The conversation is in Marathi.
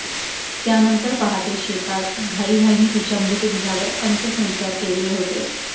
त्यानंतर पहाटे शेतात घाईघाईने तिच्या मृतदेहावर अंत्यसंस्कार केले होते